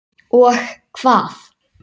Og hvað?